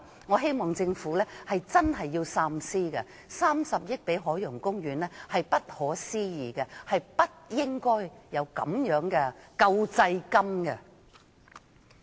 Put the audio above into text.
我希望政府真的要三思，撥3億元給海洋公園是不可思議的，政府不應發放這種救濟金。